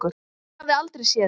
Ég hafði aldrei séð þig.